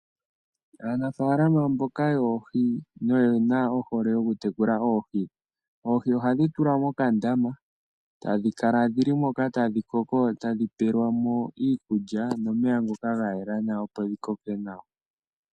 Aanafalama mboka yoohi noye na ohole okutekula oohi, oohi ohadhi tulwa mokandama etadhi kala dhili moka tadhi koko dho etadhi pelwa mo iikulya nomeya ngoka ga yela nawa opo dhikoke nawa.